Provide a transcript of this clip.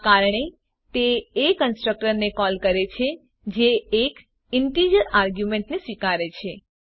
આ કારણે તે એ કન્સ્ટ્રકટર ને કોલ કરે છે જે એક ઇન્ટીજર આર્ગ્યુંમેંટને સ્વીકારે છે